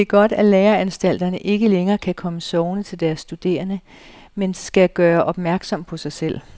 Det er godt, at læreanstalterne ikke længere kan komme sovende til deres studerende, men skal gøre opmærksom på sig selv.